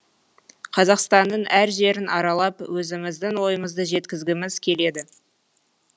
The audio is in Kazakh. қазақстанның әр жерін аралап өзіміздің ойымызды жеткізгіміз келеді